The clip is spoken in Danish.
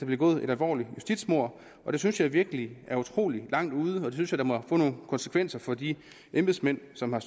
begået et alvorligt justitsmord det synes jeg virkelig er utrolig langt ude og det synes jeg da må få nogle konsekvenser for de embedsmænd som har